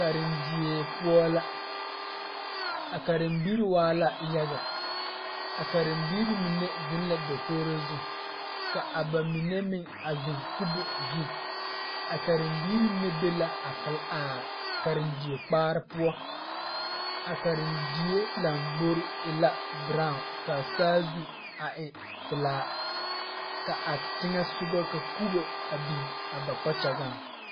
Karendie poɔ la a karembiiri waa la yaga a karembiiri mine zeŋ la dakogri zu ka a bamine meŋ kubo zu a karembiiri mine be la a Karendie kpaare poɔ a Karendie lambori e la kabala ka saazu a e pelaa ka a teŋa soga ka kubo biŋ a ba kpakyagaŋ.